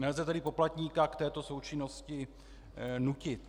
Nelze tedy poplatníka k této součinnosti nutit.